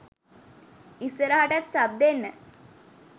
ඉස්සරහටත් සබ් දෙන්න